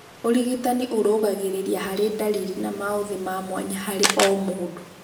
Ũrigitani ũrũgagĩrĩria harĩ ndariri na maũthĩ mamwanya harĩ omũndũ